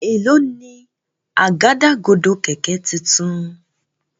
Èló ni Àgádágodo kẹ̀kẹ́ títún?